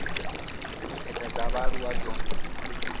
u khetha dza vhaaluwa dzo